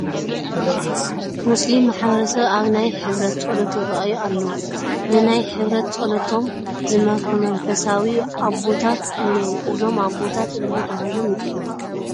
ሞስሊም ማሕበረሰብ ኣብ ናይ ሕብረት ፀሎት ይረአዩ ኣለዉ፡፡ ንናይ ሕብረት ፀሎቶም ዝመርሑ መንፈሳዊ ኣቦታት እኔዉ፡፡ እዞም ኣቦታት እንታይ ተባሂሎም ይፅውዑ?